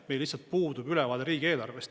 Meil lihtsalt puudub ülevaade riigieelarvest.